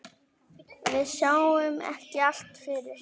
Við sáum ekki allt fyrir.